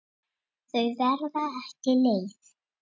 Það var ekki létt.